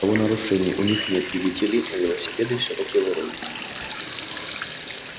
правонарушений у них нет видите ли но велосипеды всё-таки воруют